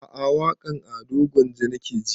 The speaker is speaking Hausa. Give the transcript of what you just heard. A'a waƙan ado gwanja nake ji